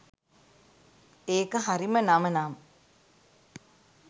ඒක හරිම නම නම්